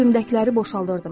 Mən cibimdəkiləri boşaldırdım.